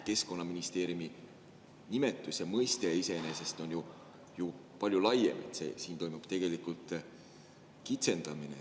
Keskkonnaministeeriumi nimetuse mõiste iseenesest on ju palju laiem, siin toimub tegelikult kitsendamine.